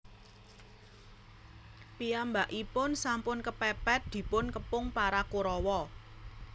Piyambakipun sampun kepèpèt dipun kepung para Korawa